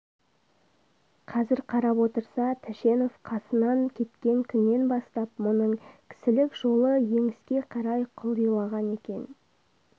қазір қарап отырса тәшенов қасынан кеткен күннен бастап мұның кісілік жолы еңіске қарай құлдилаған екен